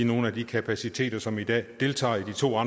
nogle af de kapaciteter som i dag deltager i de to